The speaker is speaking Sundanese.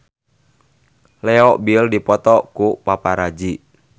Leo Bill dipoto ku paparazi